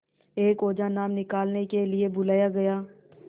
एक ओझा नाम निकालने के लिए बुलाया गया